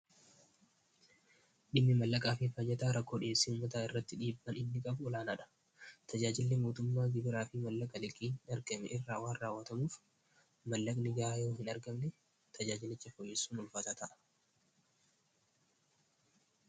dhimmi mallaqaa fii fayyataa rakkoodhiyeessiin mataa irratti dhiibban inni qabu olaanaadha tajaajille mootummaa gibiraa fii mallaqa liqii hin argame irraawaa raawwatamuuf mallaqni gaayoo hin argabne tajaajilicha foyyessuun ulfaasaa ta'a